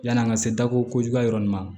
Yann'an ka se dako kojugu yɔrɔ nin ma